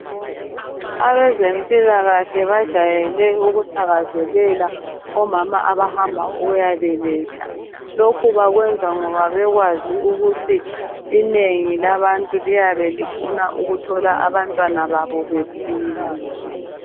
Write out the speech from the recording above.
Abezempilakahle bajayele ukuthakazelela omama abahamba ukuyabeletha, lokhu bekwenza ngoba bekwazi ukuthi inengi labantu liyabe lifuna ukuthola abantwana babo bephila.